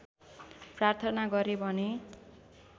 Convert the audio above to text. प्रार्थना गरे भने